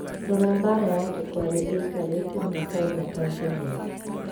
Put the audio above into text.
Rora mbara ya tukware ĩikarĩte miaka ĩna Tanzania